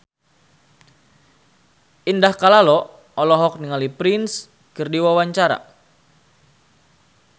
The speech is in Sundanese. Indah Kalalo olohok ningali Prince keur diwawancara